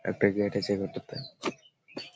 একটা গেট আছে এ ঘরটা তে |